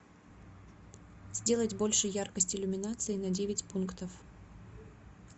сделать больше яркость иллюминации на девять пунктов